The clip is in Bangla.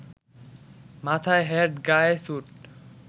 মাথায় হ্যাট, গায়ে স্যুট